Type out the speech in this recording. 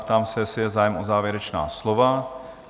Ptám se, jestli je zájem o závěrečná slova?